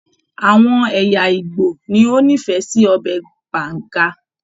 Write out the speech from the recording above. Àwọn ẹ̀yà ìgbò ni o n'ifẹ sí ọbẹ Banga.